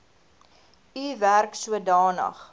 u werk sodanig